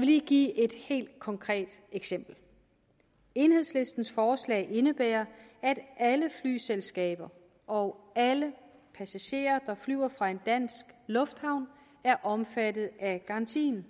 lige give et helt konkret eksempel enhedslistens forslag indebærer at alle flyselskaber og alle passagerer der flyver fra en dansk lufthavn er omfattet af garantien